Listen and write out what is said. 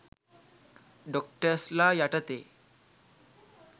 ඩොක්ටර්ස්ලා යටතේ.